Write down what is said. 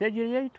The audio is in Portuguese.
Se é direito,